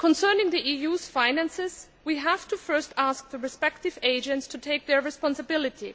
Concerning the EU's finances, we have to first ask the respective agents to take their responsibility.